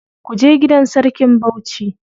Kuje gidan sarkin Bauchi.